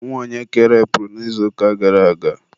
nwa onye ka erepuru n'izuụka gara aga?